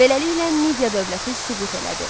Beləliklə Midiya dövləti süqut elədi.